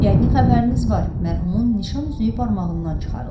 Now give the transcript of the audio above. Yəqin xəbəriniz var, mərhumun nişan üzüyü barmağından çıxarılıb.